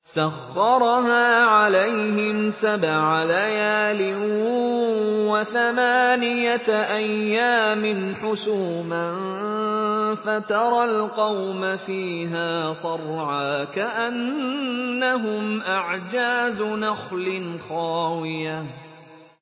سَخَّرَهَا عَلَيْهِمْ سَبْعَ لَيَالٍ وَثَمَانِيَةَ أَيَّامٍ حُسُومًا فَتَرَى الْقَوْمَ فِيهَا صَرْعَىٰ كَأَنَّهُمْ أَعْجَازُ نَخْلٍ خَاوِيَةٍ